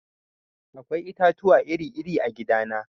Akwai itatuwa iri-iri a gidana.